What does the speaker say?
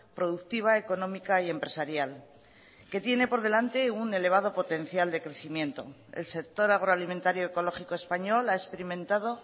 productiva económica y empresarial que tiene por delante un elevado potencial de crecimiento el sector agroalimentario ecológico español ha experimentado